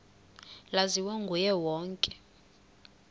laziwa nguye wonke